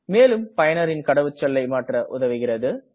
மேலும் பயனரின் கடவுச்சொல்லை மாற்ற உதவுகிறது